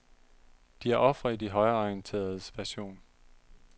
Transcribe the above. De er ofre i de højreorienteredes version.